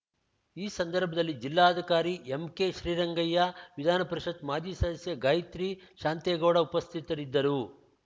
ಈ ಸಂದರ್ಭದಲ್ಲಿ ಜಿಲ್ಲಾಧಿಕಾರಿ ಎಂಕೆ ಶ್ರೀರಂಗಯ್ಯ ವಿಧಾನಪರಿಷತ್ತು ಮಾಜಿ ಸದಸ್ಯೆ ಗಾಯತ್ರಿ ಶಾಂತೇಗೌಡ ಉಪಸ್ಥಿತರಿದ್ದರು